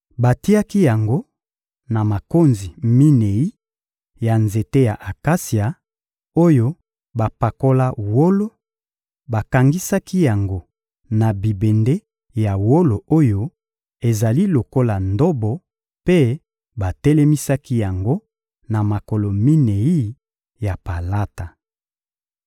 Batiaki yango na makonzi minei ya nzete ya akasia, oyo bapakola wolo; bakangisaki yango na bibende ya wolo oyo ezali lokola ndobo mpe batelemisaki yango na makolo minei ya palata.